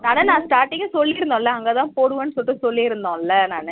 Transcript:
அதா நா starting ல சொல்லிருந்தோல அங்க தா போடுவோம்னு சொல்லிட்டு சொல்லிருந்தோல நானு